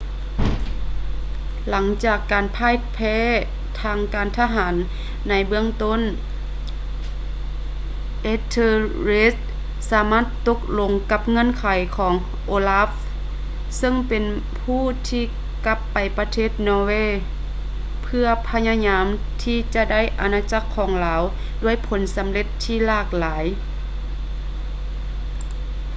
ຫຼັງຈາກການຜ່າຍແພ້ທາງການທະຫານໃນເບື້ອງຕົ້ນ ethelred ສາມາດຕົກລົງກັບເງື່ອນໄຂກັບ olaf ເຊິ່ງເປັນຜູ້ທີ່ກັບໄປປະເທດນໍເວເພື່ອພະຍາຍາມທີ່ຈະໄດ້ອານາຈັກຂອງລາວດ້ວຍຜົນສຳເລັດທີ່ຫຼາກຫຼາຍ